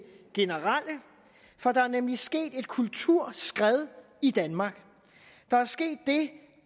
generelle for der er nemlig sket et kulturskred i danmark der er sket det